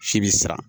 Si bi sa